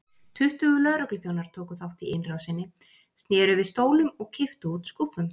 Tuttugu lögregluþjónar tóku þátt í innrásinni, sneru við stólum og kipptu út skúffum.